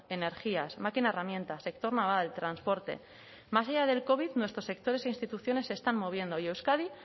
energías máquina herramienta sector naval transporte más allá del covic nuestros sectores e instituciones se están moviendo y euskadi